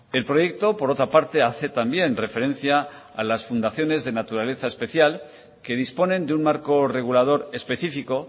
el proyecto por otra parte hace también referencia a las fundaciones de naturaleza especial que disponen de un marco regulador específico